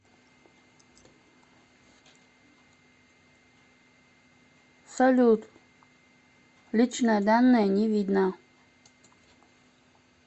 салют личные данные не видно